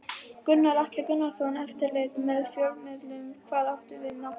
Gunnar Atli Gunnarsson: Eftirlit með fjölmiðlum, hvað áttu við nákvæmlega?